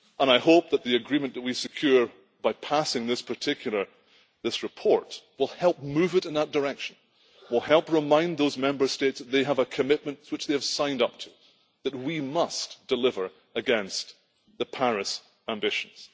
And I hope that the agreement that we secure by passing this report will help move it in that direction, will help remind those Member States they have a commitment which they have signed up to, that we must deliver against the Paris ambitions.